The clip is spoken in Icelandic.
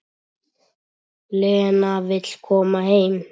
Lena vill koma heim.